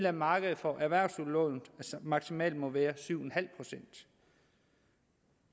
af markedet for erhvervsudlån maksimalt må være syv en halv procent